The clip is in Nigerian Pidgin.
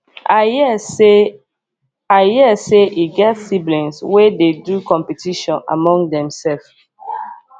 i hear sey i hear sey e get siblings wey dey do competition among themsef